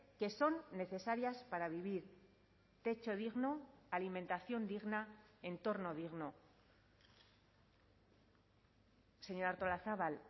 que son necesarias para vivir techo digno alimentación digna entorno digno señora artolazabal